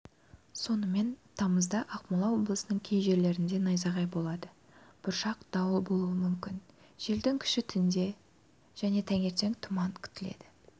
сонымен тамызда ақмола облысының кей жерлерінде найзағай болады бұршақ дауыл болуы мүмкін желдің күші түнде және таңертен тұман күтіледі